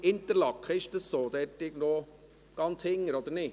Sitzen sie dort hinten irgendwo, oder doch nicht?